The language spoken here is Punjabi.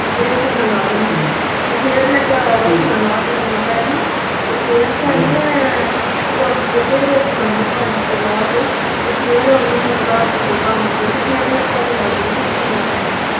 ਰੋਟੀਆਂ ਲਾਹ ਲੀਆਂ ਤੇ ਫਿਰ ਲੰਮੀ ਪੈ ਗੀ ਤੇ ਫਿਰ ਉਠ ਕੇ ਤੇ ਰੋਟੀਆਂ ਪੰਜ ਛੇ ਲਾਹ ਕੇ ਫਿਰ ਮੈ ਝਾੜੂ ਲਾ ਕੇ ਤੇ ਫਿਰ ਮੈ ਲੰਮੀ ਪੈ ਗੀ